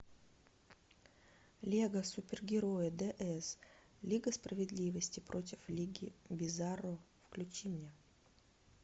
лего супергерои дэ эс лига справедливости против лиги бизарро включи мне